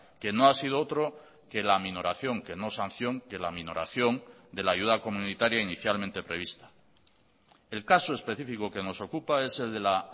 que no ha sido otro que la aminoración que no sanción que la aminoración de la ayuda comunitaria inicialmente prevista el caso específico que nos ocupa es el de la